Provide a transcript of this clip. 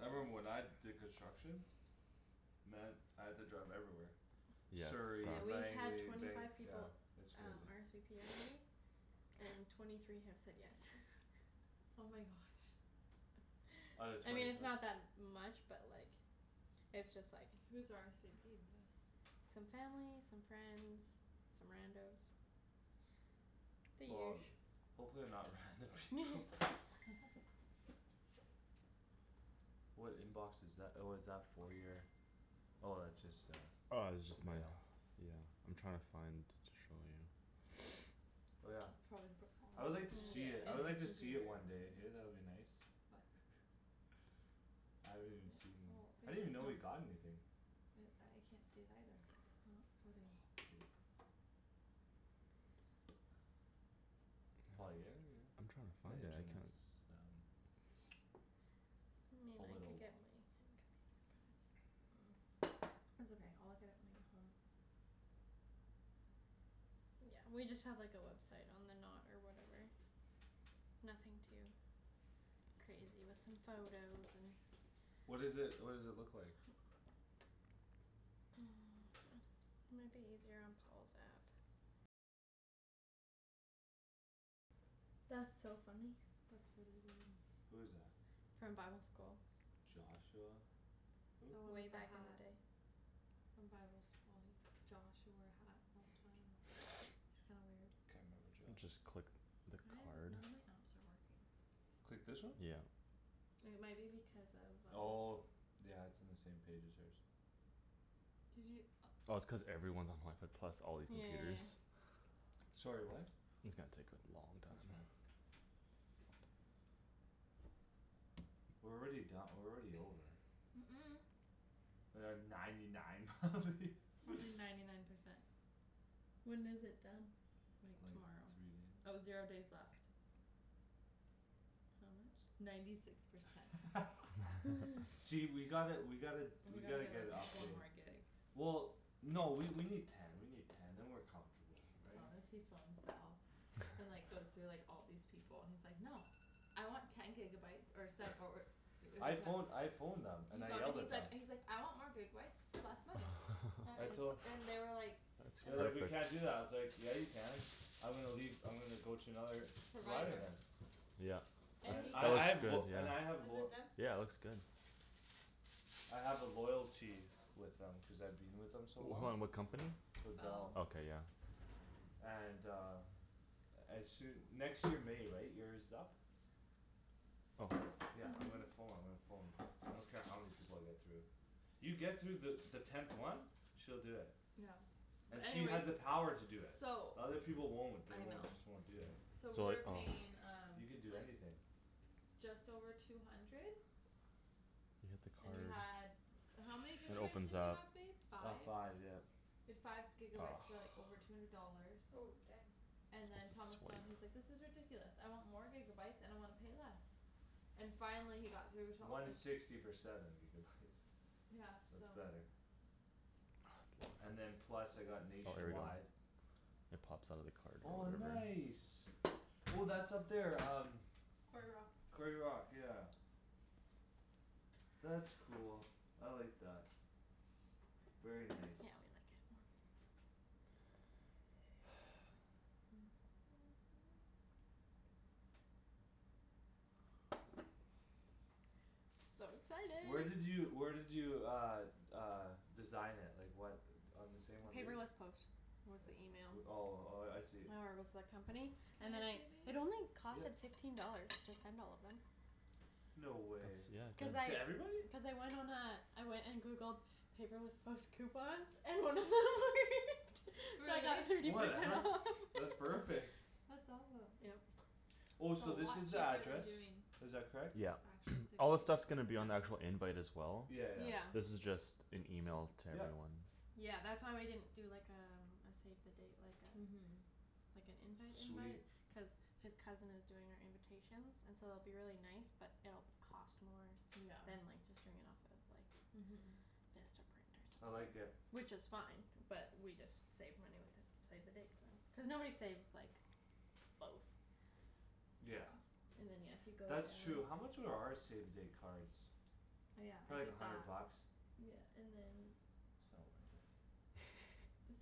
I remember when I did construction Man, I had to drive everywhere Yeah, Surrey, Yeah, we've it sucks. had Langley, twenty Vanc- five yeah. people It's um crazy. RSVP already. And twenty three have said yes. Oh my gosh. Out of I mean, twenty it's fi- not that much but, like It's just, like Who's RSVP'd yes? Some family, some friends, some rando's The Well, usu. hopefully they're not random people. What inbox is tha- oh, is that for your Oh, that's just uh Oh, this is just my mail. Yeah. I'm trying to find to show you. Oh, yeah. Probably the I would like to see Yeah, it, I would and like to his see it computers. one day, hey? That would be nice. What? I haven't even Yeah, seen, well, I babe, didn't even know you it's like got anything. I can't see it either. Not loading. Poop. Paul, are you here, are you I'm trying to here? find The it. I can't internet's down. Hmm, A I little could get water. mine, I think. It's okay, I'll look at it when I get home. Yeah, we just have, like, a website on the Knot or whatever. Nothing too crazy, with some photos and What is it, what does it look like? Might be easier on Paul's app. That's so funny. That's really weird. Who is that? From bible school. Joshua, who? The one Way with the back in hat. the day. From bible school, Josh who wore a hat all the time. It's kinda weird. Can't remember Josh. Just click the Why is it card. none of my apps are working? Click this one? Yeah. It might be because of um Oh. Yeah, it's in the same page as hers. Did you, oh. Oh, it's cuz everyone's on wifi plus all these Yeah, yeah, yeah, computers. yeah. Sorry, what? It's gonna take a long That's fine. time. We're already don- we're already over. Mm- mm. We're at ninety nine probably. Probably ninety nine percent. When is it done? Like Like tomorrow. three Oh, zero days days. left. How much? Ninety six percent. See, we gotta, we gotta, We we gotta gotta get a get, like, one update. more gig. Well, no, we, we need Ten, we need ten, then we're comfortable, right? Honestly phones Bell. And, like, goes through, like, all these people. And he's like, "No!" "I want ten gigabyes or se- or" I phone, I phoned them He and I phoned yelled and he's at them. like, he's like, "I want more gigabyes for less money." That I and, tol- and they were like They And were That's like, like "We can't do epic. that." I was like "Yeah, you can." "I'm gonna leave, I'm gonna go to another" "provider Provider. then." Yep. It, And And he I, that I got looks have good, lo- yeah. and I have Is lo- it done? Yeah, it looks good. I have a loyalty with them cuz I've been with them so long. Hold on, what company? With Bell. Bell. Okay, yeah. And uh As soo- next year May, right? Year's up. Oh. Yeah, I'm gonna pho- I'm gonna phone. I don't care how many people I get through. You get through the, the tenth one. She'll do it. Yeah. And But she has anyways the power to do it. So The other people won't. They I know. won't, just won't do it. So So we like, were oh. paying um You can do like anything. Just over two hundred You hit the And we card. had, how many It gigabytes opens did we up. have, babe? About Five? five, yeah. We had five gigabytes for, like, over two hundred dollars. Oh, dang. And Supposed then Thomas to phoned, he's swipe. like, "This is ridiculous. I want more gigabytes and I wanna pay less." And finally he got through till One it sixty for seven gigabytes. Yeah, So so. it's better. And then It's plus I got Oh, here we go. nationwide It pops out of the card Oh, or whatever. nice. Oh, that's up there um Quarry Rock. Quarry Rock, yeah. That's cool; I like that. Very Yeah, we nice. like it more. So Where excited. did you, where did you uh Uh design it? Like what On the same one we'd Paperless Post was the Like, email. uh, oh, oh, yeah, I see. Or was the company Can and then I I, see, it babe? only cost, Yep. like, fifteen dollars to send all of them. No way. Cuz That's, yeah, good. To I, everybody? cuz I went on a I went and Googled Paperless Post coupons And then it worked. So I got Really? thirty percent Whatever, off. that's perfect. That's awesome. Yep. Oh, That's a so this lot is the cheaper than address? doing Is that correct? Yeah. Actual save All this stuff's the dates. gonna be on the actual invite as well. Yeah. Yeah, yeah. This is just an email to Yep. everyone. Yeah, that's why we didn't do, like, um a save the date, like uh Mhm. Like an invite Sweet. invite cuz His cousin is doing our invitations And so it'll be really nice but it'll cost more Yeah, Than, like, just doing it off of, like, mhm. Vistaprint or I like something. it. Which is fine but we just save money with the Save the dates then, cuz nobody saves, like, both. Yeah. And then, yeah, if you go That's down true. How much were our save the date cards? Oh, yeah, I Probably a did that. hundred bucks. Yeah, and then It's not worth it.